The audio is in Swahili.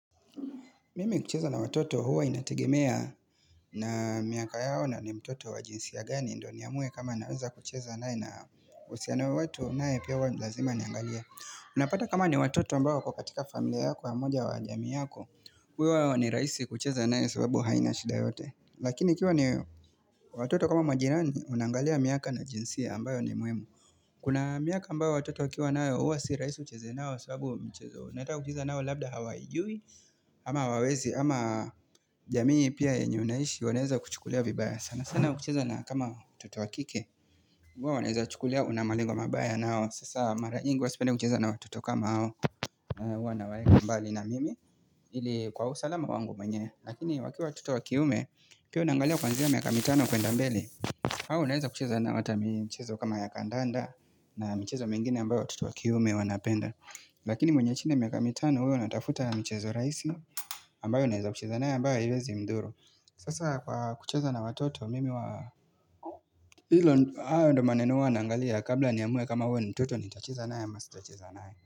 Mimi kucheza na watoto huwa inategemea na miaka yao na ni mtoto wa jinsia gani ndiyo niamue kama naweza kucheza naye na uhusiano watu unayepewa ni lazima niangalie. Unapata kama ni watoto ambao wako katika familia yako ya moja wa jamii yako, kwa hiyo hawa ni rahisi kucheza naye sababu haina shida yote. Lakini ikiwa ni watoto kama majirani unaangalia miaka na jinsia ambayo ni mwema. Kuna miaka ambayo watoto wakiwa nao huwa sirahisi ucheze nao kwa sababu mchezo unataka kucheza nao labda hawaijui. Ama hawawezi ama jamii pia yenye unaishi wanaweza wa kuchikulia vibaya sana. Sana sana kucheza na kama mtoto wakike. Huwa wanaweza kuchukulia unamalengo mabaya nao. Sasa mara yingi huwa sipendi kucheza na watoto kama hawa. Huwa waweka mbali na mimi ili kwa usalama wangu mwenye. Lakini wakiwa watoto wakiume pia unangalia kuanzia miaka mitano kwenda mbele. Au unaweza kucheza nao hata michezo kama ya kandanda. Na mchezo mingine ambayo wa toto wa kiume wanapenda. Lakini mwenye chini ya miaka mitano huyo ninatafuta michezo rahisi. Ambayo naweza kucheza naye ambayo haiwezi mzuru. Sasa kwa kucheza na watoto mimi huwa hilo hayo ndiyo maneno huwa naangalia kabla ni amue kama wewe mtoto nitacheza nae amasitacheza nae.